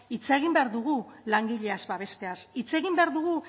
hitz egin behar dugu langileak babesteaz hitz egin behar dugu